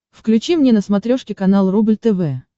включи мне на смотрешке канал рубль тв